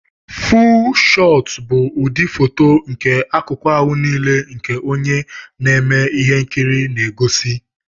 fúú shootu bụ ụdị fóto nke akụku ahụ nile nke onye na-eme ihe nkiri na egosi